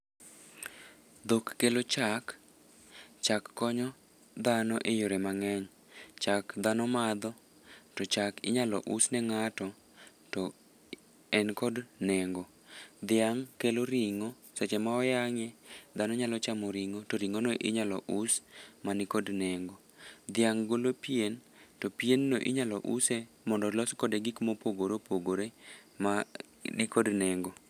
Dhok kelo chak. Chak konyo dhano e yore mangény. Chak dhano madho, to chak inyalo us ne ngáto to en kod nengo. Dhiang' kelo ringó. Seche ma oyangé, dhano nyalo chamo ringó, to ringó no inyalo us, mani kod nengo. Dhiang' golo pien, to pienno inyalo use, mondo olos kode gik mopogore opogore mani kod nengo.